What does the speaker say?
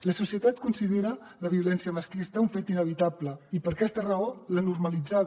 la societat considera la violència masclista un fet inevitable i per aquesta raó l’ha normalitzada